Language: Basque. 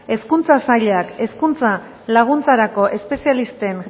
hezkuntza sailak hezkuntza laguntzarako espezialisten